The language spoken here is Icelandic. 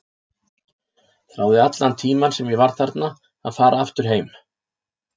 Þráði allan tímann sem ég var þarna að fara aftur heim.